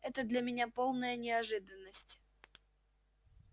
это для меня полная неожиданность